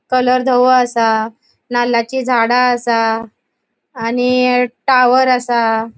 कलर दवो असा नाल्लाची झाडा असा. आणि टावर असा.